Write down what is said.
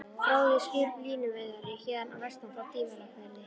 Fróði er skip, línuveiðari héðan að vestan, frá Dýrafirði.